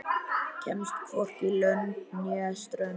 Kemst hvorki lönd né strönd.